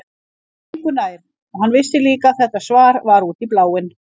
Hún var engu nær og hann vissi líka að þetta svar var út í bláinn.